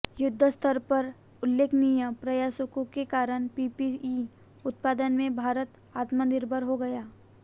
युद्धस्तर पर उल्लेखनीय प्रयासों के कारण पीपीई उत्पादन में भारत आत्मनिर्भर हो गया